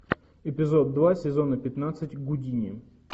эпизод два сезона пятнадцать гудини